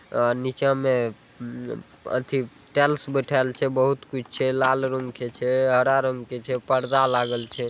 अ नीच मे अथि टेल्स बैठाएल छै बोहोत कुछ छै लाल रंग के छै हरा रंग के छै पर्दा लागल छै ।